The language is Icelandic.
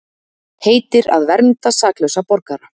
Heitir að vernda saklausa borgara